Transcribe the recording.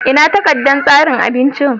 Ina takardar tsarin abincin?